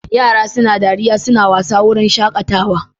Yara suna dariya suna wasa a wurin shaƙatawa.